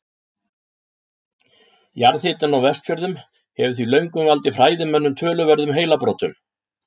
Jarðhitinn á Vestfjörðum hefur því löngum valdið fræðimönnum töluverðum heilabrotum.